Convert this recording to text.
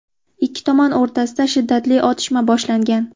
Ikki tomon o‘rtasida shiddatli otishma boshlangan.